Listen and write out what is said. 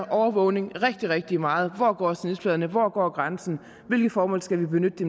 overvågning rigtig rigtig meget hvor går snitfladerne hvor går grænsen hvilke formål skal vi benytte